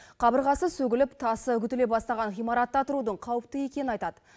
қабырғасы сөгіліп тасы үгітіле бастаған ғимаратта тұрудың қауіпті екенін айтады